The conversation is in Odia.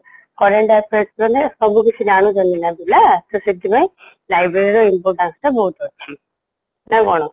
current Affaires ମାନେ ସବୁ କିଛି ଜାଣୁଛନ୍ତି ନା ପିଲା ସେଥିପାଇଁ library ର importance ଟା ବହୁତ ଅଛି ନା କ'ଣ?